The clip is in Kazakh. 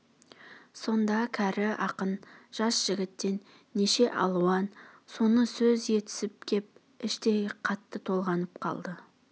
сонда кәрі ақын жас жігіттен неше алуан соны сөз есітіп кеп іштей қатты толғанып қалды